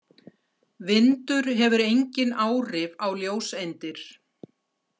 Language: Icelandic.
Vindur hefur engin áhrif á ljóseindir.